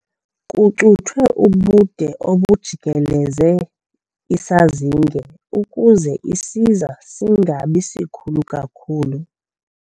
Kucuthwe ubude obujikeleze isazinge ukuze isiza singabi sikhulu kakhulu.